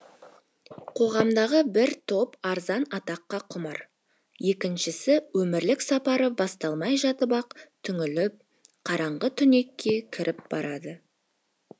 қоғамдағы бір топ арзан атаққа құмар екіншісі өмірлік сапары басталмай жатып ақ түңіліп қараңғы түнекке кіріп барады